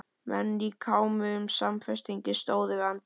Menn í kámugum samfestingum stóðu við anddyri.